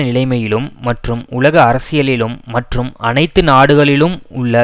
நிலைமையிலும் மற்றும் உலக அரசியலிலும் மற்றும் அனைத்து நாடுகளிலும் உள்ள